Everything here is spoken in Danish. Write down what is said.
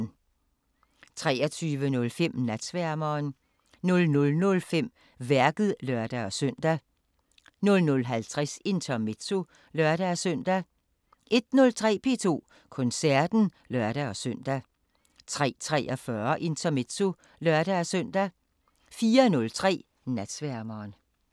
23:05: Natsværmeren 00:05: Værket (lør-søn) 00:50: Intermezzo (lør-søn) 01:03: P2 Koncerten (lør-søn) 03:43: Intermezzo (lør-søn) 04:03: Natsværmeren